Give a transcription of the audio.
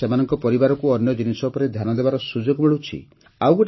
ଏହାଦ୍ୱାରା ସେମାନଙ୍କ ପରିବାରକୁ ଅନ୍ୟ ଜିନିଷ ଉପରେ ଧ୍ୟାନ ଦେବାର ସୁଯୋଗ ମିଳୁଛି